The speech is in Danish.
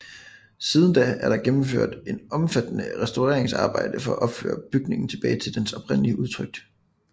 Siden da er der gennemført omfattende restaureringsarbejder for at føre bygningen tilbage til dens oprindelige udtryk